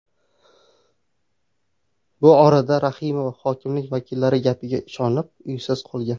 Bu orada Rahimova hokimlik vakillari gapiga ishonib uysiz qolgan.